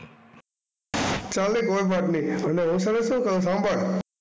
ચાલે કોઈ વાત નહીં હવે ત્યારે શું કરવાનું સાંભળ.